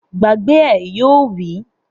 Gbàgbé ẹ̀! Yóò wí